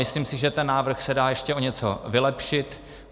Myslím si, že ten návrh se dá ještě o něco vylepšit.